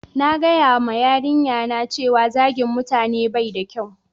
na gaya ma yarinya na cewa zagin mutane bai da kyau